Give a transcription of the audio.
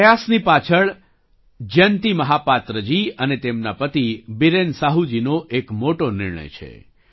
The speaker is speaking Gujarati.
આ પ્રયાસની પાછળ જયંતી મહાપાત્રજી અને તેમના પતિ બીરેન સાહુજીનો એક મોટો નિર્ણય છે